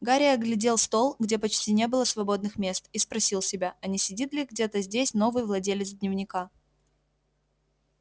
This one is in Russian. гарри оглядел стол где почти не было свободных мест и спросил себя а не сидит ли где-то здесь новый владелец дневника